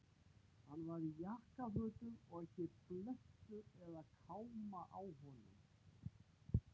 Hann var í jakkafötum og ekki blettur eða káma á honum.